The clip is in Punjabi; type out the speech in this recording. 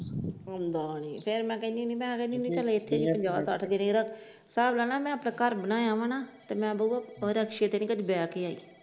ਆਉਂਦਾ ਨੀ ਫਿਰ ਮੈ ਕਹਿੰਦੀ ਹੁੰਦੀ ਮੈ ਕਹਿੰਦੀ ਹੁੰਦੀ ਇਥੇ ਪੰਜਾਹ ਸੱਠ ਦੇਣੇ ਹਿਸਾਬ ਲਾਲਾ ਮੈ ਆਪਣਾ ਘਰ ਬਣਾਏ ਆ ਹਣਾ ਮੈ ਬਾਊ ਰਿਕਸ਼ੇ ਤੇ ਨੀ ਕਦੇ ਬੈਠ ਕੇ ਆਈ ।